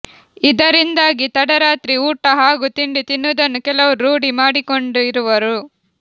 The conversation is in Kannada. ಇದರಿಂದಾಗಿ ತಡರಾತ್ರಿ ಊಟ ಹಾಗೂ ತಿಂಡಿ ತಿನ್ನುವುದನ್ನು ಕೆಲವರು ರೂಢಿ ಮಾಡಿಕೊಂಡಿರುವರು